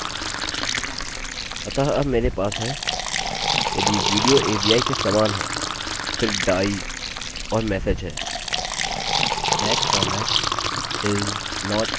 अतः अब मेरे पास है यदि विडियो avi के समान है फिर die और मेसेज है that format is not allowed